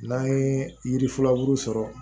N'an ye yiri furu sɔrɔ